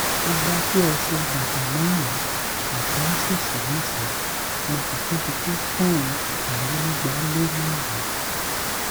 mo ga tó ẹsẹ bàtà márùnún àti íńṣíìsì mẹsànán mo sì tóbi tó pọnùn ọtàlénígbálémárùnún